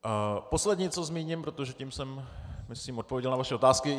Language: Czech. Poslední, co zmíním, protože tím jsem, myslím, odpověděl na vaše otázky...